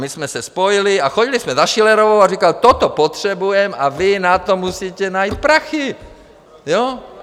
My jsme se spojili a chodili jsme za Schillerovou a říkali: Toto potřebujeme a vy na to musíte najít prachy, jo?